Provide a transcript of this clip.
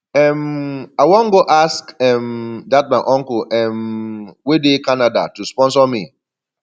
um i wan go ask um dat my uncle um wey dey canada to sponsor me